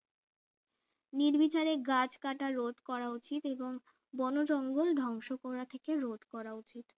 নির্বিচারে গাছ কাটা রোধ করা উচিত এবং বনজঙ্গল ধ্বংস করা থেকে রোধ করা উচিত